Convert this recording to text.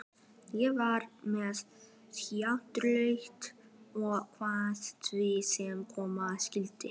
Ég var með hjartslátt og kveið því sem koma skyldi.